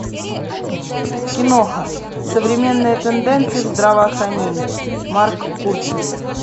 киноха современные тенденции в здравоохранении марк курцер